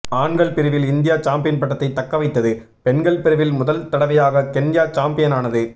ஆண்கள் பிரிவில் India champion பட்டத்தை தக்கவைத்தது பெண்கள் பிரிவில் முதல் தடவையாக கென்யா சம்பியனானது